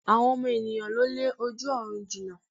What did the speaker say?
Àwọn ọmọ ènìyãn ló lé ojú ọ̀run jina